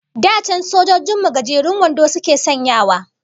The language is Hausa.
Da can sojojin mu gajerun wando suke sanyawa